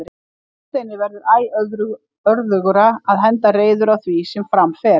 Hafsteini verður æ örðugra að henda reiður á því sem fram fer.